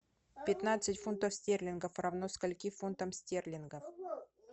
пятнадцать фунтов стерлингов равно скольки фунтам стерлингов